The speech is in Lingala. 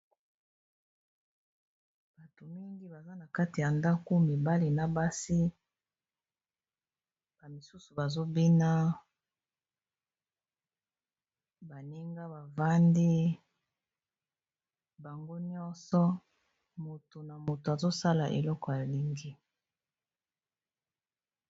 bato mingi baza na kati ya ndaku mibale na basi amisusu bazobina baninga bavandi bango nyonso moto na moto azosala eloko ya lingi